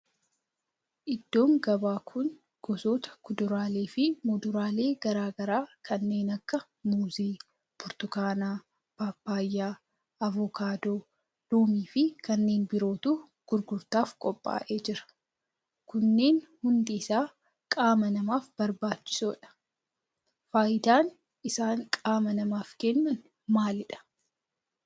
Iddoon gabaa kun gosoota kuduraalee fi muduraalee garaa garaa kanneen akka muuzii, burtukaana, paappayyaa, avokaadoo, loomii fi kanneen birootu gurgurtaaf qophaa'ee jira. kunneen hundi isaa qaama namaaf barbaachisoodha. faayidaan isaan qaama namaaf kennan maalidha?